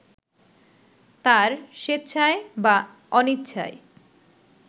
তাঁর স্বেচ্ছায় বা অনিচ্ছায়